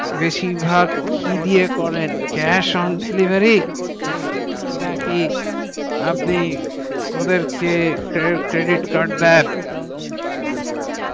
বেশির ভাগ কি দিয়ে করেন cash on delivery না কি আপনি ওদেরকে credit card দেন credit card